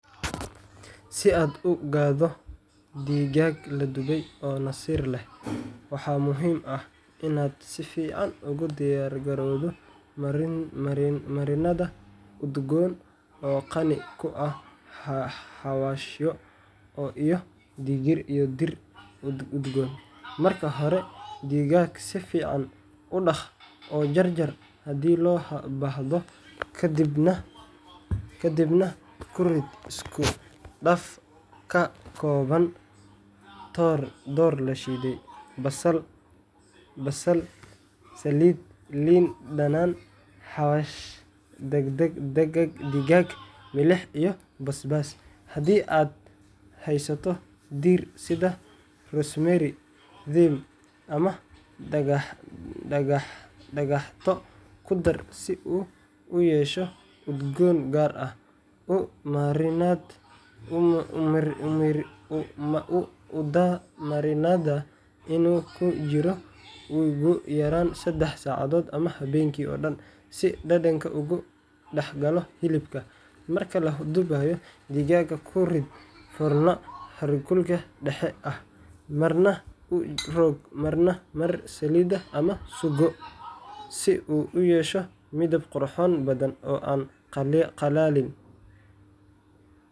Si aad u gaadho digaag la dubay oo nasir leh, waxa muhiim ah inaad si fiican ugu diyaargarowdo marinad udgoon oo qani ku ah xawaashyo iyo dhir udgoon. Marka hore, digaaga si fiican u dhaq oo jarjar haddii loo baahdo, kadibna ku rid isku dhaf ka kooban toor la shiiday, basal, saliid, liin dhanaan, xawaash digaag, milix, iyo basbaas. Haddii aad haysato dhir sida rosemary, thyme, ama dhagaxdo, ku dar si uu u yeesho udgoon gaar ah. U daa marinadda inuu ku jiro ugu yaraan sedex saacadood ama habeenkii oo dhan, si dhadhanka ugu dhex galo hilibka. Marka la dubayo, digaaga ku rid foorno heerkul dhexdhexaad ah, marna u rogo marna mari saliid ama suugo si uu u yeesho midab qurux badan oo aan qallalin.